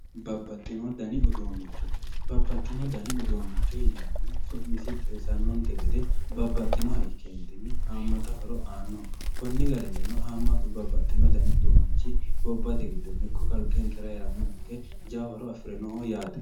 Babaxino dani uduunicho, babaxino dani uduunicho yineemohu su'misi xawisante gede babaxinoha ikkenitinni haamatta horo aanno konni garinninno haamatu babaxino dani uduunichi gobbatte gido ikko kaliqqenkera heeranoha ikke jawa horo afirinoho yaatte